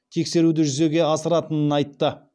тексеруді жүзеге асыратынын айтты